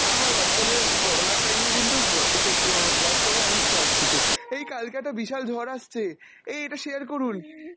আমার Whatsapp এর করোনার time এ কিন্তু অ সোস অ Whatsapp এও অনেক fraud কিছু, এই কালকে একটা বিশাল ঝর আসছে, এই এটা share করুন